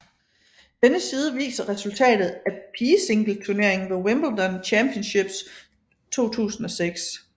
Denne side viser resultatet af pigesingleturneringen ved Wimbledon Championships 2006